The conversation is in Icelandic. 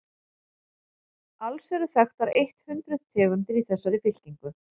alls eru þekktar eitt hundruð tegundir í þessari fylkingu